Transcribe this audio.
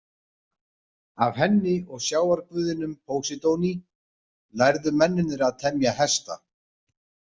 Af henni og sjávarguðinum Póseidoni lærðu mennirnir að temja hesta.